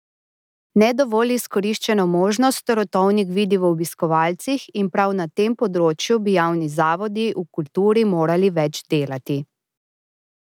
Ne dovolj izkoriščeno možnost Rotovnik vidi v obiskovalcih in prav na tem področju bi javni zavodi v kulturi morali več delati.